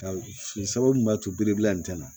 sabu mun b'a to biribila nin tɛna